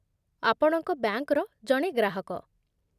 ଆପଣଙ୍କ ବ୍ୟାଙ୍କର ଜଣେ ଗ୍ରାହକ